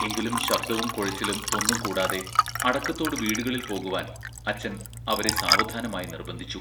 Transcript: എങ്കിലും ശബ്ദവും കുഴച്ചിലും ഒന്നും കൂടാതെ അടക്കത്തോടു വീടുകളിൽ പോകുവാൻ അച്ചൻ അവരെ സാവധാനമായി നിർബന്ധിച്ചു.